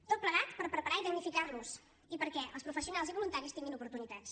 tot plegat per preparar los i tecnificar los i perquè els professionals i voluntaris tinguin oportunitats